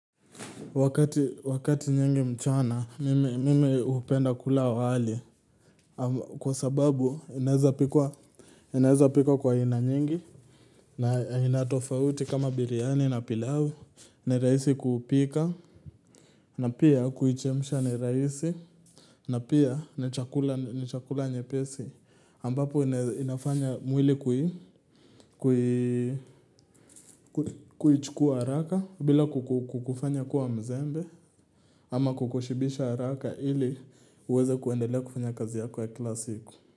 Wakati nyingi mchana, mimi hupenda kula wali kwa sababu inaweza pikwa kwa aina nyingi na aina tofauti kama biryani na pilau. Ni rahisi kuupika na pia kuichemsha ni rahisi na pia ni chakula nyepesi. Ambapo inafanya mwili kuichukua haraka bila kukufanya kuwa mzembe ama kukushibisha haraka ili uweze kuendelea kufanya kazi yako ya kilasiku.